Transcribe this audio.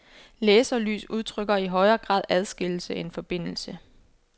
Laserlys udtrykker i højere grad adskillelse end forbindelse.